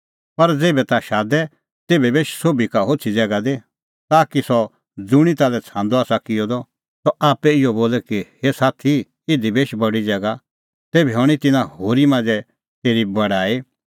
पर ज़ेभै ताह शादे तेभै बेश सोभी का होछ़ी ज़ैगा दी ताकि सह ज़ुंणी ताल्है छ़ांदअ आसा किअ द सह आप्पै इहअ बोले कि हे साथी इधी बेश बडी ज़ैगा तेभै हणीं तिन्नां होरी मांझ़ै तेरी बड़ाई